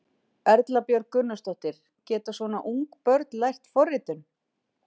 Erla Björg Gunnarsdóttir: Geta svona ung börn lært forritun?